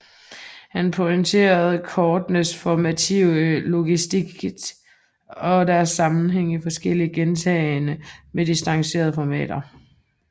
Han pointerer kortenes formative logicitet og deres sammenhæng i forskellige gentagne med distancerede formater